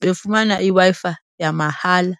befumana iWi-Fi yamahala.